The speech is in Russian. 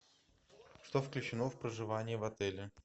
что включено в проживание в отеле